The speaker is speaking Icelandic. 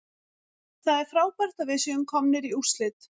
Það er frábært að við séum komnir í úrslit.